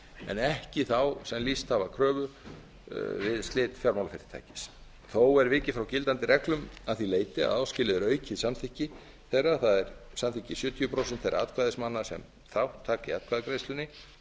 en ekki þá sem lýst hafa kröfu við slit fjármálafyrirtækis þó er vikið frá gildandi reglum að því leyti að áskilið er aukið samþykki þeirra það er samþykki sjötíu prósent þeirra atkvæðismanna sem þátt taka í atkvæðagreiðslunni talið eftir